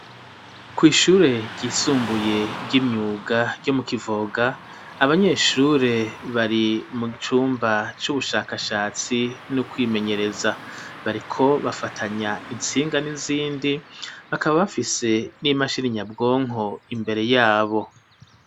Kw'ishure ryisumbuye ry'imyuga ryo mu kivoga abanyeshure bari mu gicumba c'ubushakashatsi n'ukwimenyereza bariko bafatanya intsinga n'izindi bakaba bafise n'imashirinyabwonko imbere yabo.